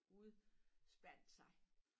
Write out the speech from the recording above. Udspandt sig